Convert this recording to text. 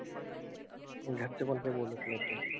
घरचे पण काही बोलत नव्हते.